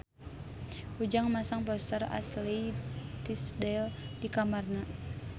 Ujang masang poster Ashley Tisdale di kamarna